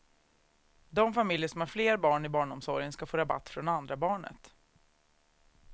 De familjer som har fler barn i barnomsorgen ska får rabatt från andra barnet.